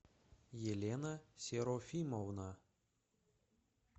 елена серафимовна